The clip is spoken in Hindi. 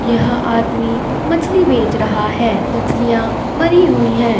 यह आदमी मछली बेच रहा है मछलियाँ मरी हुई हैं।